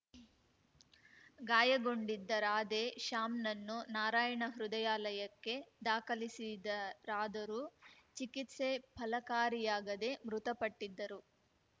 ಗಾಯಗೊಂಡಿದ್ದ ರಾಧೆ ಶ್ಯಾಮ್‌ನನ್ನು ನಾರಾಯಣ ಹೃದಯಾಲಯಕ್ಕೆ ದಾಖಲಿಸಿದರಾದರೂ ಚಿಕಿತ್ಸೆ ಫಲಕಾರಿಯಾಗದೆ ಮೃತಪಟ್ಟಿದ್ದರು